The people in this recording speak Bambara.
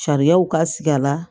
Sariyaw ka sigi a la